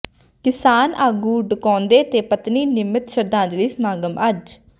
ਕਿਸਾਨ ਆਗੂ ਡਕੌਂਦਾ ਤੇ ਪਤਨੀ ਨਮਿੱਤ ਸ਼ਰਧਾਂਜਲੀ ਸਮਾਗਮ ਅੱਜ